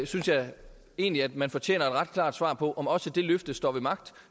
synes jeg egentlig at man fortjener et ret klart svar på om også det løfte står ved magt